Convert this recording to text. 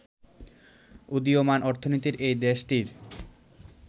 উদীয়মান অর্থনীতির এই দেশটির